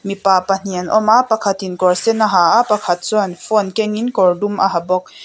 mipa pahnih an awm a pakhat in kawr sen a ha a pakhat chuan phone kengin kawrdum a ha bawk.